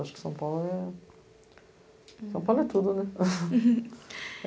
Acho que São Paulo é... São Paulo é tudo, né?